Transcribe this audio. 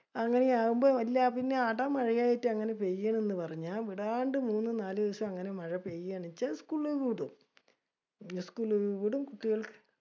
അങ്ങിനെയാവുമ്പോ . പിന്നെ അഡ മഴയായിട്ട് അങ്ങിനെ പെയാണ് എന്ന് പറഞ്ഞ വിടാണ്ട് മൂന്ന് നാലൂസം മഴ പേയാണിച്ച school വിടും. School വിടും. കുട്ടികൾക്ക്